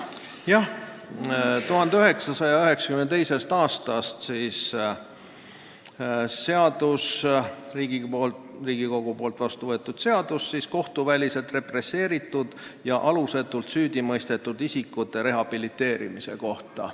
Jah, 1992. aastal võeti Riigikogus vastu seadus kohtuväliselt represseeritud ja alusetult süüdimõistetud isikute rehabiliteerimise kohta.